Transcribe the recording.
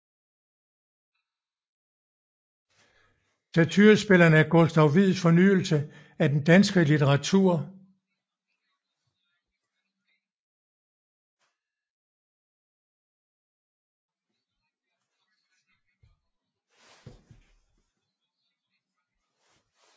Satyrspillene er Gustav Wieds fornyelse af den danske litteratur